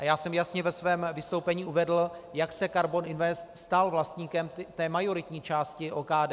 A já jsem jasně ve svém vystoupení uvedl, jak se Karbon Invest stal vlastníkem té majoritní části OKD.